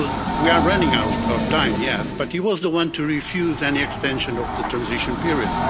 We are running out of time yes but he was the one to refuse any extension of the transition period.